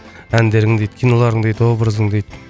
әндерің дейді киноларың дейді образың дейді